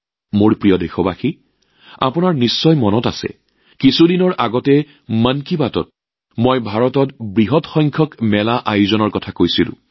মোৰ প্ৰিয় দেশবাসী আপোনালোকৰ হয়তো মনত আছে যে কিছুদিনৰ আগতে মন কী বাতত মই ভাৰতত আয়োজন কৰা বৃহৎ সংখ্যক মেলাৰ বিষয়ে আলোচনা কৰিছিলোঁ